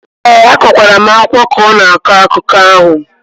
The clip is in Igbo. ee, akwakwara m ákwá ka ọ na-akọ akụkọ ahụ